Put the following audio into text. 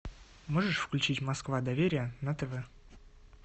можешь включить москва доверие на тв